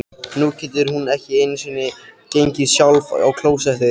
Nú getur hún ekki einu sinni gengið sjálf á klósettið.